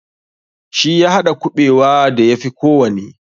Shi ya haɗa kuɓewa da ya fi kowanne.